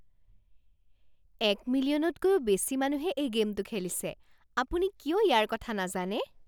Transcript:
এক মিলিয়নতকৈও বেছি মানুহে এই গে'মটো খেলিছে। আপুনি কিয় ইয়াৰ কথা নাজানে?